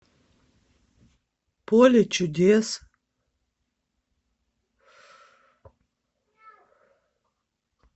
поле чудес